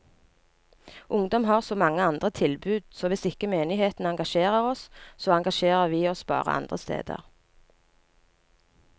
Ungdom har så mange andre tilbud, så hvis ikke menigheten engasjerer oss, så engasjerer vi oss bare andre steder.